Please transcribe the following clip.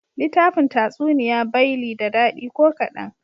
Litafin Tatsuniya bay li da dadi ko kadan.